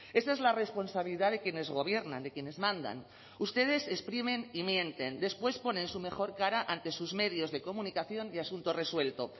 esa es la responsabilidad de quienes gobiernan de quienes mandan ustedes exprimen y mienten después ponen su mejor cara ante sus medios de comunicación y asunto resuelto